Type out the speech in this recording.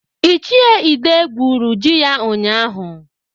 Ichie Ide gwuru ji ya ụnyaahụ.